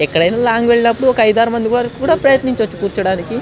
ఎక్కడైనా లాంగ్ వెళ్ళినప్పుడు ఒక ఐదు ఆరు మంది వరకు ప్రయత్నించవచ్చు కూర్చోవడానికి.